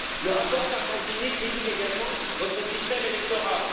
Le rapport Sargentini critique également votre système électoral.